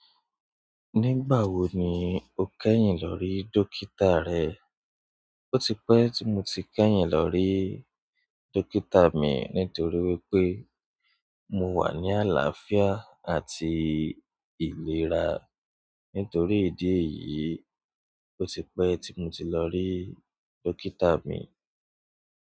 Nígbà wo ni o kẹ́yìn lọ rí dókítà rẹ? Ó ti pẹ́ tí mo ti kẹ́yìn lọ rí dókítà mi nítorí wípé mo wà ní àlàáfíà àti ìlera. Nítorí ìdí èyí, ó ti pẹ́ tí mo ti lọ rí dókítà mi.